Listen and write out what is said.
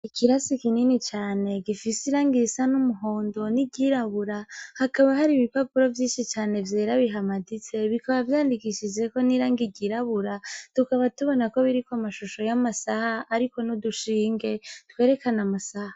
Ikirasi kinini cane gifise irangi risa n'umuhondo n'iryirabura, hakaba hari ibipapuro vyinshi cane vyera bihamaditse bikaba vyandikishijeko n'irangi ryirabura tukaba tubona ko biriko amashusho y'amasaha biriko n'udushinge twerekana amasaha.